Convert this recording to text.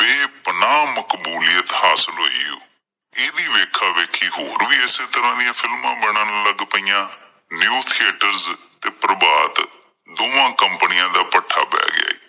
ਬੇਪਨਾਹ ਮਕਬੂਲਿਤ ਹਾਸਿਲ ਹੋਈ ਇਹ ਦੀ ਵੇਖਾਂ-ਵੇਖੀ ਹੋਰ ਵੀ ਇਸੇ ਤਰਾਂ films ਦੀਆਂ ਬਣਨ ਲੱਗ ਗਈਆਂ new theaters ਤੇ ਪ੍ਰਭਾਂਤ ਦੋਵਾਂ companies ਦਾ ਭੱਠਾ ਬਹਿ ਗਿਆ ਏ।